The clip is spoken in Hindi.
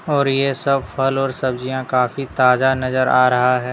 और ये सब फल और सब्जियां काफी ताजा नजर आ रहा है।